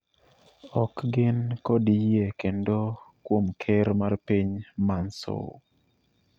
ok gin kod yie kendo kuom Ker mar piny Mansour